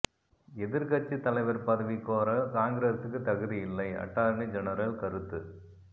எதிர்க்கட்சி தலைவர் பதவி கோர காங்கிரசுக்கு தகுதி இல்லை அட்டார்னி ஜெனரல் கருத்து